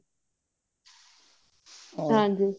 ਹਾਂਜੀ